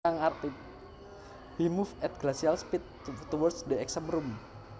He moved at glacial speed towards the exam room